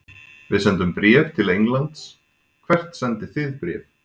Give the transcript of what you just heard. Við sendum bréf til Englands. Hvert sendið þið bréf?